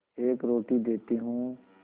एक रोटी देती हूँ